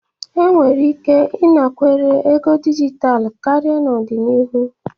Enwere ike ịnakwere ego dijitalụ karịa n'ọdịnihu.